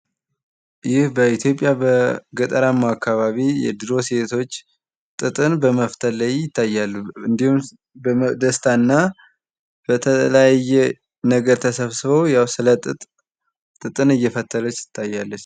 ይህ በኢትዮጵያ በገጠራማ አካባቢ የድሮ ሴቶች ጥጥን በመፍተል ላይ ይታያሉ፤ እንዲሁም በደስታ እና በተለያየ ነገር ተሰብስበው ጥጥን እየፈተለች ትታያለች።